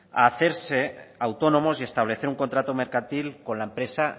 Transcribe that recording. a hacerse autónomos y establecer un contrato mercantil con la empresa